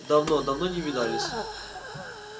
давно давно не видались